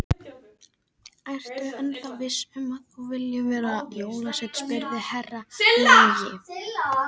Ertu ennþá viss um að þú viljir verða jólasveinn spurði Herra Luigi.